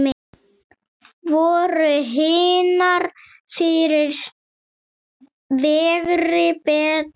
Voru hinar fyrri fegri, betri?